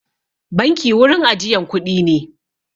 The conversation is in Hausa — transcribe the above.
Banki wurin ajiyan kuɗi ne.